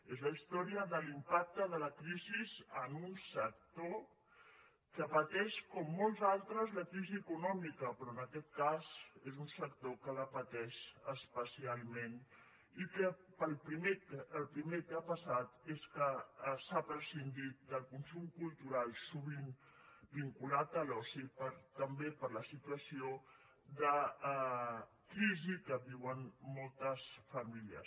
és la història de l’impacte de la crisi en un sector que pateix com molts altres la crisi econòmica però en aquest cas és un sector que la pateix especialment i el primer que ha passat és que s’ha prescindit del consum cultural sovint vinculat a l’oci també per la situació de crisi que viuen moltes famílies